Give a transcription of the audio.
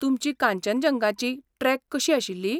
तुमची कांचनजंगाची ट्रेक कशी आशिल्ली?